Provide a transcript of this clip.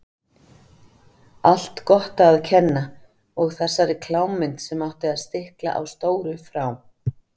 Allt Gotta að kenna og þessari klámmynd sem átti að stikla á stóru frá